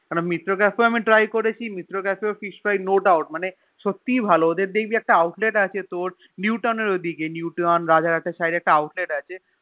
কারণ মিত্র ক্যাফেও আমি Try করেছি Mitra cafe Fish fry no doubt মানে সত্যি ভালো এদের দেখবি একটা Outlet আছে তোর New town এর ওদিকে New town রাজার হাত এর Side এ একটা Outlet আছে